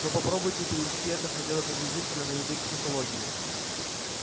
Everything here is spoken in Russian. но попробуйте перевести это хотя бы приблизительно на язык психологии